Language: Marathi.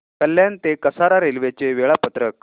कल्याण ते कसारा रेल्वे चे वेळापत्रक